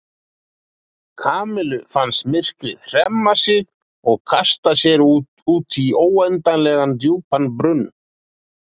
Kamillu fannst myrkrið hremma sig og kasta sér út í óendanlega djúpan brunn.